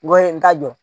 N ko n t'a dɔn